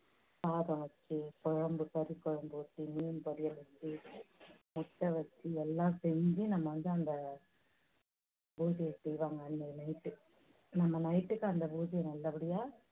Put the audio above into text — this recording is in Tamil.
சாதம் வெச்சு, குழம்பு கறி குழம்பு வெச்சு, மீன் வெச்சு, முட்டை வெச்சு எல்லாம் செஞ்சி நம்ம வந்து அந்த பூஜையை செய்வாங்க. அந்த night நம்ப night டுக்கு அந்த பூஜையை நல்லபடியா